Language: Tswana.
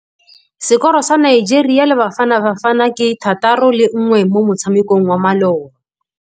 Sekôrô sa Nigeria le Bafanabafana ke 3-1 mo motshamekong wa malôba.